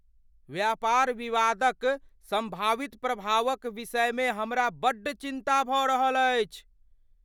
व्यापार विवादक सम्भावित प्रभावक विषयमे हमरा बड्ड चिन्ता भऽ रहल अछि।